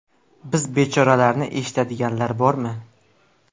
Biz bechoralarni eshitadiganlar bormi?